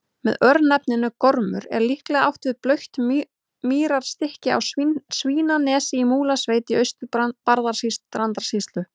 Með örnefninu Gormur er líklega átt við blautt mýrarstykki á Svínanesi í Múlasveit í Austur-Barðastrandarsýslu.